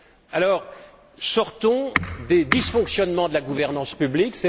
Alors, sortons des dysfonctionnements de la gouvernance publique!